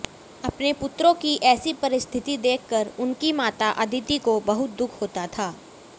अपने पुत्रों की ऐसी परिस्थिति देखकर उनकी माता अदिति को बहुत दुख होता था